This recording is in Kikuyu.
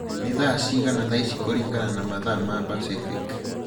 nī thaa cigana thaa ici kūlingana na mathaa ma pasifik